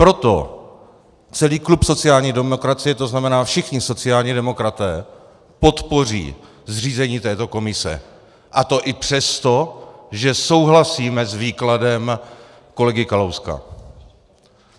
Proto celý klub sociální demokracie, to znamená všichni sociální demokraté, podpoří zřízení této komise, a to i přesto, že souhlasíme s výkladem kolegy Kalouska.